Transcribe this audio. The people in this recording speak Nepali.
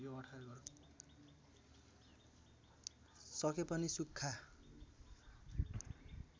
सके पनि सुख्खा